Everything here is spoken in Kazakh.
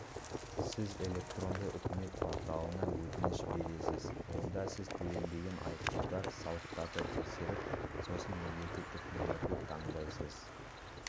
сіз электронды үкімет порталына өтініш бересіз онда сіз төленбеген айыппұлдар салықтарды тексеріп сосын мемлекеттік нөмірді таңдайсыз